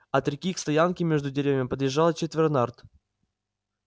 от реки к стоянке между деревьями подъезжало четверо нарт